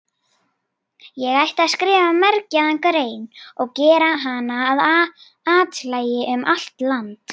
Ég ætti að skrifa mergjaða grein og gera hana að athlægi um allt land.